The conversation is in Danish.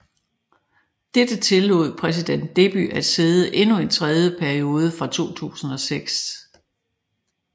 Dette tillod præsident Deby at sidde endnu en tredje periode fra 2006